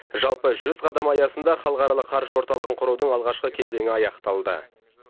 жалпы жүз қадам аясында халықаралық қаржы орталығын құрудың алғашқы кезеңі аяқталды